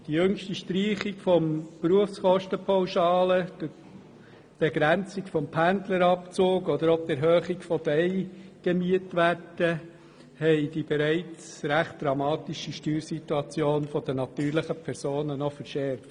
Die jüngste Streichung der Berufskosten-Pauschale, die Begrenzung des Pendlerabzugs, aber auch die Erhöhung der Eigenmietwerte haben die bereits recht dramatische Steuersituation der natürlichen Personen noch verschärft.